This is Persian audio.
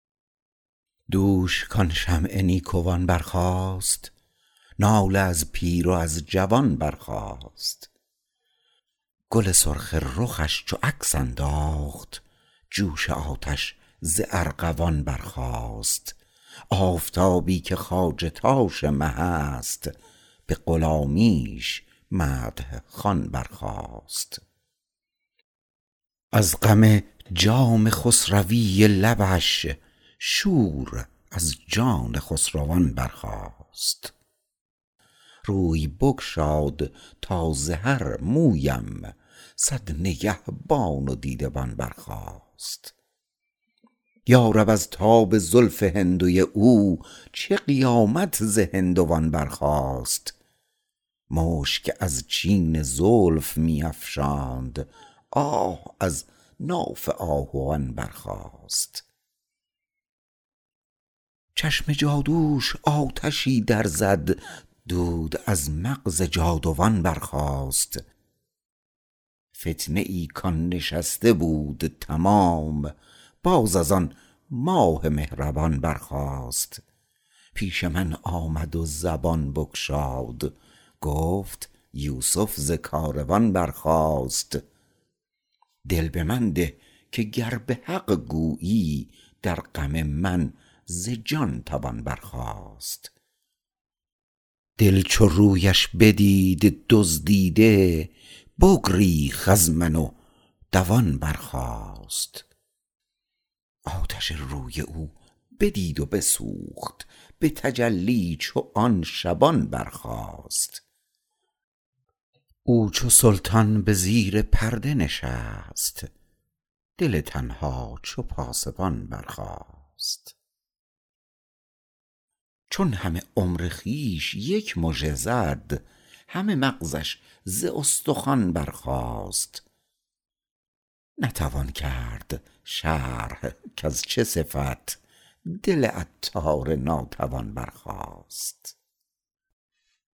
دوش کان شمع نیکوان برخاست ناله از پیر و از جوان برخاست گل سرخ رخش چو عکس انداخت جوش آتش ز ارغوان برخاست آفتابی که خواجه تاش مه است به غلامیش مدح خوان برخاست از غم جام خسروی لبش شور از جان خسروان برخاست روی بگشاد تا ز هر مویم صد نگهبان و دیده بان برخاست یارب از تاب زلف هندوی او چه قیامت ز هندوان برخاست مشک از چین زلف می افشاند آه از ناف آهوان برخاست چشم جادوش آتشی در زد دود از مغز جادوان برخاست فتنه ای کان نشسته بود تمام باز از آن ماه مهربان برخاست پیش من آمد و زبان بگشاد گفت یوسف ز کاروان برخاست دل به من ده که گر به حق گویی در غم من ز جان توان برخاست دل چو رویش بدید دزدیده بگریخت از من و دوان برخاست آتش روی او بدید و بسوخت به تجلی چو آن شبان برخاست او چو سلطان به زیر پرده نشست دل تنها چو پاسبان برخاست چون همه عمر خویش یک مژه زد همه مغزش ز استخوان برخاست نتوان کرد شرح کز چه صفت دل عطار ناتوان برخاست